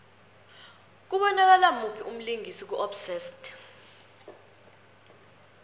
kubonakala muphi umlingisi ku obsessed